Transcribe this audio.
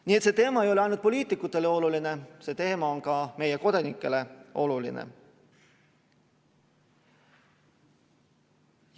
Nii et see teema ei ole ainult poliitikutele oluline, see teema on ka meie kodanikele oluline.